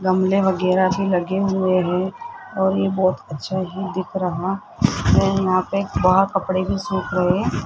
गमले वगैरा भी लगे हुए हैं और ये बहोत अच्छे है दिख रहा और यहां पे वहां कपड़े भी सुख रहे--